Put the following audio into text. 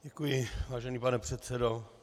Děkuji, vážený pane předsedo.